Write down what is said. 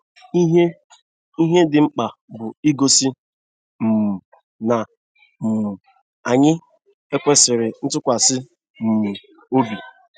Ihe Ihe dị mkpa bụ igosi um na um anyị - ekwesịri ntụkwasị um obi.